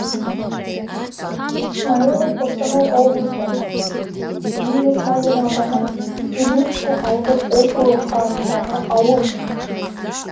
смаилов қостанай облысы бейімбет майлин ауданы белинский ауылдық округі құрамындағы ауыл